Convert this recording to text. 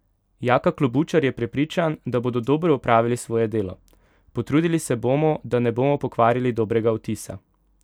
Jaka Klobučar je prepričan, da bodo dobro opravili svoje delo: 'Potrudili se bomo, da ne bomo pokvarili dobrega vtisa.